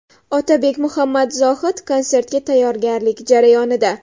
Otabek Muhammadzohid konsertga tayyorgarlik jarayonida.